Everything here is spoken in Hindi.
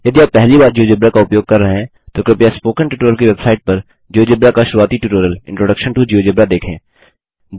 यदि आप पहली बार जियोजेब्रा का उपयोग कर रहे हैं तो कृपया स्पोकन ट्यूटोरियल की वेबसाइट पर जियोजेब्रा का शुरूआती ट्यूटोरियल इंट्रोडक्शन टो जियोजेब्रा देखें